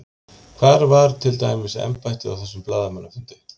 Hvar var til dæmis embættið á þessum blaðamannafundi?